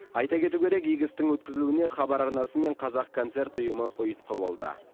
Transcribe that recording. айта кету керек игі істің өткізілуіне хабар арнасы мен қазақконцерт ұйымы ұйытқы болды